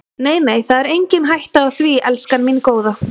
Nei, nei, það er engin hætta á því, elskan mín góða.